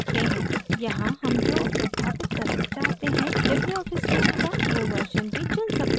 यहाँ हम जो संस्थापित करना चाहते हैं libreoffice suite का वो version भी चुन सकते हैं